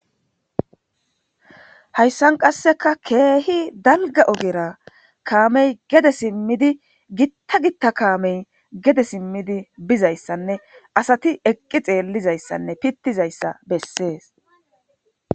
Haysan kaseka keehi dalga ogera kaame gede simidi gita gita kaame gede simidi bizaysane asati eqi xeelizaysane pitizaysa beses.